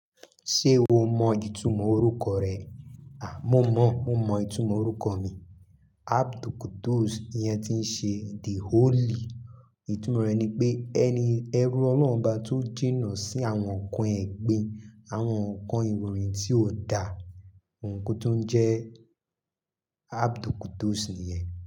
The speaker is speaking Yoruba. Ṣé o mọ ìtumọ̀ orúkọ rẹ? À, mo mọ, mo mọ ìtumọ̀ orúkọ mi. Abdulquddus, ìyẹn ti ń ṣe the Holy. Ìtumọ̀ rẹ̀ ni pé ẹni ẹrú Ọlọ́run bá tún jìnà sí àwọn nǹkan ẹgbin, àwọn nǹkan ìròyìn tí ó dà, ǹkan tó ń jẹ Abdulquddus ni ẹ̀